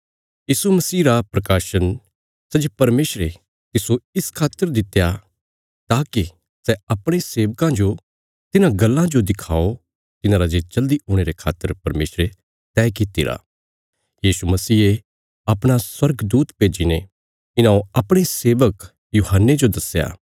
यीशु मसीह रा प्रकाशन सै जे परमेशरे तिस्सो इस खातर दित्या ताकि सै अपणे सेवकां जो तिन्हां गल्लां जो दिखाओ तिन्हांरा जे जल्दी हुणे रे खातर परमेशरे तैह कित्तिरा यीशु मसीहे अपणा स्वर्गदूत भेज्जीने इन्हौं अपणे सेवक यूहन्ने जो दस्या